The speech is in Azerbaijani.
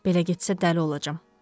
Belə getsə dəli olacam.